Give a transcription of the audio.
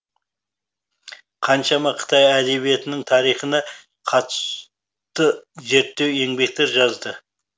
қаншама қытай әдебиетінің тарихына қатысты зерттеу еңбектер жазды